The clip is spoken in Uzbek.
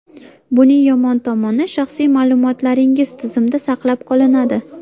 Buning yomon tomoni shaxsiy ma’lumotlaringiz tizimda saqlab qolinadi.